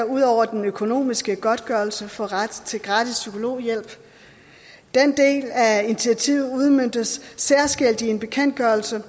ud over den økonomiske godtgørelse får ret til gratis psykologhjælp den del af initiativet udmøntes særskilt i en bekendtgørelse